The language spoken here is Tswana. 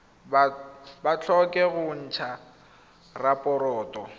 ba tlhoke go ntsha raporoto